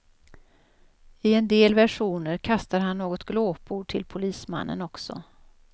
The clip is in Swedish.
I en del versioner kastar han något glåpord till polismannen också.